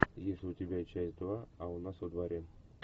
есть ли у тебя часть два а у нас во дворе